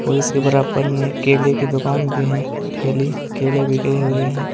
और इसके बराबर में केले के दुकान भी है ठेले केले बिके हुए हैं।